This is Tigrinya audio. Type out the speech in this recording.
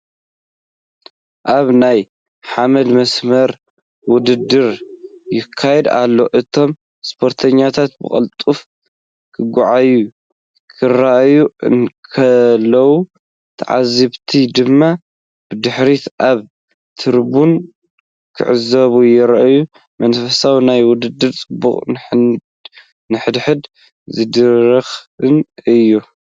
ኣብ ናይ ሓመድ መስመር ውድድር ይካየድ ኣሎ። እቶም ስፖርተኛታት ብቕልጡፍ ክጎዩ ክረኣዩ እንከለዉ፡ ተዓዘብቲ ድማ ብድሕሪት ኣብ ትሪቡን ክዕዘቡ ይረኣዩ። መንፈስ ናይቲ ውድድር ጽዑቕን ንሓድሕድ ዝድርኽን እዩ።